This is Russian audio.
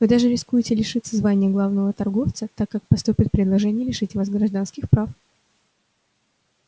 вы даже рискуете лишиться звания главного торговца так как поступят предложения лишить вас гражданских прав